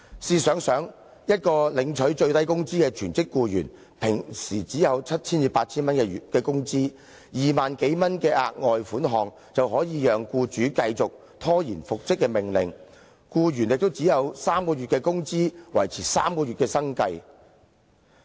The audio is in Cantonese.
試想想，一位領取最低工資的全職僱員，一般只有七八千元工資 ，2 萬多元的額外款項，便可以讓僱主繼續拖延遵守復職命令，而僱員亦只獲得3個月的工資，可維持3個月的生計。